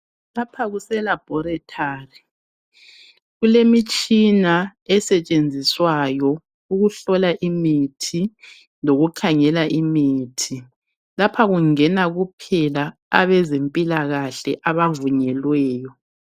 Lapha kuse laboratory. Kulemitshina esetshenziswayo ukuhlola imithi lokukhangela imithi. Lapha kungena kuphela abezempilakahle abavunyelweyo.